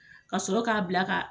Ka sɔrɔ ka bila ka